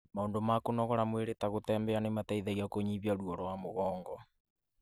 maũndũ ma kũnogora mwĩrĩ ta gũtembea nĩ mateithagia kũnyihia ruo rwa mũgongo.